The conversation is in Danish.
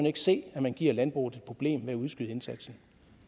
ikke se at man giver landbruget et problem ved at udskyde indsatsen